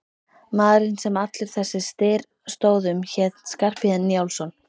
Maðurinn sem allur þessi styr stóð um hét Skarphéðinn Njálsson.